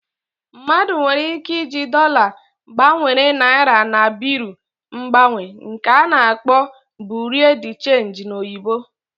Mmadu nwere ike ịji dollar gbanwere naira na Bịrụ mgbanwe nke ana-akpọ Bureau de change n'oyibo